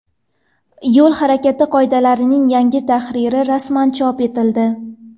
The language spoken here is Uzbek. Yo‘l harakati qoidalarining yangi tahriri rasman chop etildi .